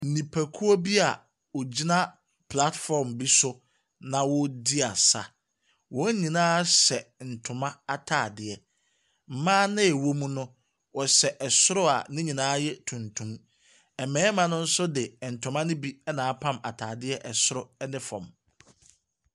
Nnipakuo bi a wɔgyina platform bi so, na wɔredi asa. Wɔn nyinaa hyɛ ntoma atadeɛ. Mmaa a wɔwɔ mu no, wɔhyɛ soro a ne nyinaa yɛ tuntum. Mmarima no nso de ntoma no bi na apam atadeɛ soro ne fam.